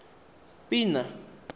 pina